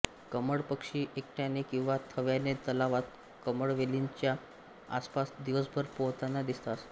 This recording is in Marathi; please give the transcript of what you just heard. कमळपक्षी एकट्याने किंवा थव्याने तलावात कमळवेलींच्या आसापास दिवसभर पोहतांना दिसतात